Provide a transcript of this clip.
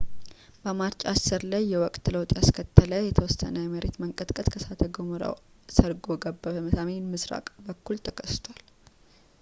በማርች 10 ላይ የወቅት ለውጥ ያስከተለ የተወሰነ የመሬት መንቀጥቀጥ ከእሳተ ገሞራው ሰርጎ ገብ በሰሜን ምሥራቅ በኩል ተከስቷል